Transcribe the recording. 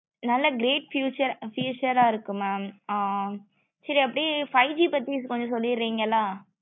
நல்ல great featurefuture இருக்கு mam ஆஹ் சேரி அப்பிடியே five G பத்தி கொஞ்சம் சொல்லுறிங்கள